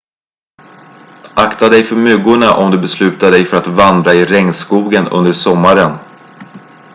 akta dig för myggorna om du beslutar dig för att vandra i regnskogen under sommaren